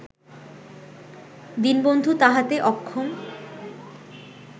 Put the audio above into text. দীনবন্ধু তাহাতে অক্ষম